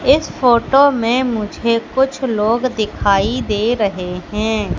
इस फोटो में मुझे कुछ लोग दिखाई दे रहे हैं।